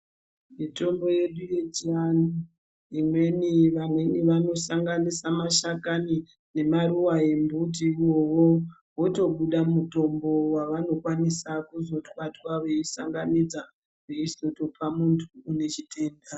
Mitombo yedu yechivantu imweni vanosanganisa mashakani nemaruwa embiti uwowo wotobuda mutombo wavanokwanisa kuzotwatwa seisanganidza veizotopa muntu unechitenda.